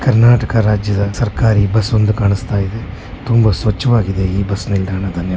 ಕರ್ನಾಟಕ ರಾಜ್ಯದ ಸರಕಾರಿ ಬಸ್ ಒಂದು ಕಾಣಿಸುತ್ತಿದೆ ತುಂಬಾ ಸ್ವಚ್ಛವಾಗಿದೆ ಈ ಬಸ್ ನಿಲ್ದಾಣ .]